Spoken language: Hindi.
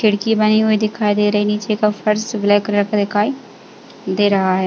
खिड़की बनी हुई दिखाई दे रही है। नीचे का फ़र्श ब्लैक कलर का दिखाई दे रहा है।